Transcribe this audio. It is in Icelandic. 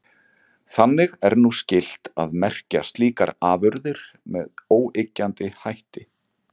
Þannig er nú skylt að merkja slíkar afurðir með óyggjandi hætti.